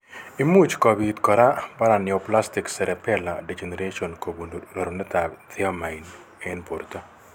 Imuch kobit kora paraneoplastic cerebellar degeneration kobun rerunetab thiamine eng' borto